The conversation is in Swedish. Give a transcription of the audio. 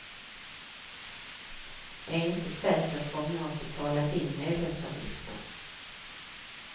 Är inte säker på om jag betalat in medlemsavgiften.